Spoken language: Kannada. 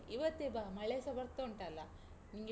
ಇವತ್ತೆ ಬಾ, ಮಳೆಸ ಬರ್ತುಂಟ್‌ ಅಲಾ? ನಿಂಗೆ.